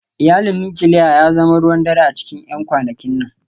Iyalin nukiliya ya zama ruwan dare a cikin 'yan kwanakin nan